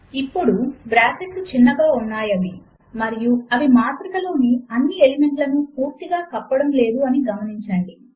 ఇప్పుడు బ్రాకెట్లు చిన్నగా ఉన్నాయి అని మరియు అవి మాత్రిక లోని అన్ని ఎలిమెంట్లను పూర్తిగా కప్పడము లేదు అని గమనించండి